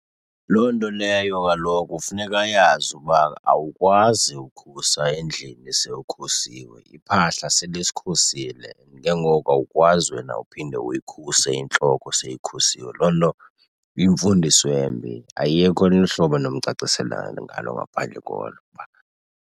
Loo nto leyo kaloku funeka ayazi uba awukwazi ukhusa endlini sewukhusiwe. Iphahla selisikhusile and ke ngoku awukwazi wena uphinde uyikhuse intloko seyikhusiwe. Loo nto iyimfundiso embi ayikho olunye uhlobo endinomcacisela ngalo ngaphandle kolo .